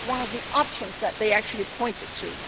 That was one of the options that they actually pointed to.